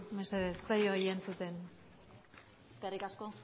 mesedez ez zaio entzuten eskerrik asko